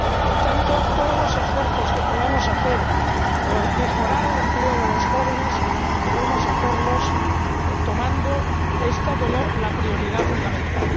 Por tanto, todos los esfuerzos que podamos realizar por mejorar el empleo de los jóvenes debemos hacerlos considerándolo como la prioridad fundamental.